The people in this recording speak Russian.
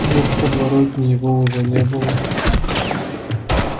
но в подворотне его уже не было